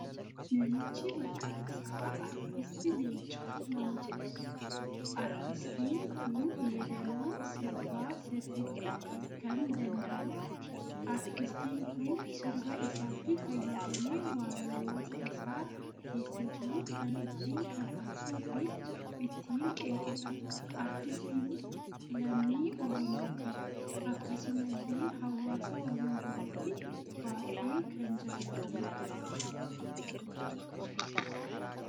Namichi maqaan isaa aartist Leencoo nama jedhamuudha. artiistii kun yeedaloo sirbaa sirriitti kan dandahuudha. artiistii kun sirba isaatti fayyadamee waan hawaasa isaa keessa jiru kan ittiin kakaasuu fi ittiin qeequudha. artiistiin lammii Oromooti. akkasumallee hawaasa Oromoo biratti baay'ee kan jaallatamuudha.